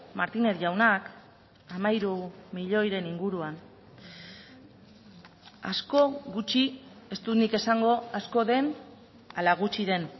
martínez jaunak hamairu milioiren inguruan asko gutxi ez dut nik esango asko den ala gutxi den